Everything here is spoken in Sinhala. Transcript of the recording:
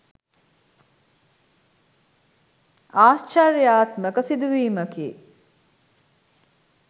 ආශ්චර්යාත්මක සිදුවීමකි.